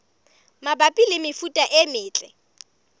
mabapi le mefuta e metle